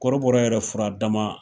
Kɔrɔbɔrɔ yɛrɛ furadama